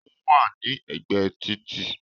Ó wà ní ègbé e títì